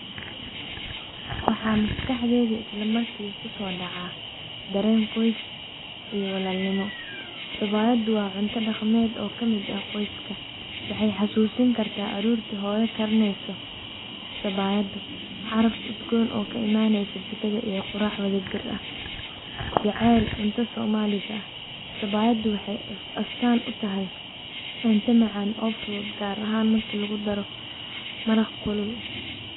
Waxaa maskaxdeyda isla marki kusodaca dareen qoys iyo walaalnimo. Sabayada waa cunto dhaqameed oo kamid ah qoyska waxay xasusin karta aroorti hooya karineyso sabayad caraf udgoon oo ka imaneyso jikada iyo qurac wadajir ah. Jaceyl cunto soomaliga ah sabayadu waxay astaan u tahay cunto macaan oo fudud gaar ahaan marki lagudaro maraq kulul.